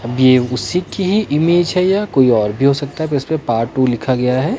अब ये उसी की ही इमेज है या कोई और भी हो सकता है पर इसमें पार्ट टू लिखा गया है।